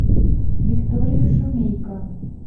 викторию шумейко